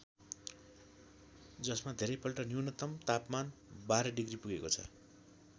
जसमा धेरैपल्ट न्यूनतम तापमान १२ डिग्री पुगेको छ ।